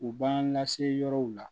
U b'an lase yɔrɔw la